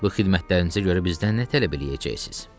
Bu xidmətlərinizə görə bizdən nə tələb eləyəcəksiz?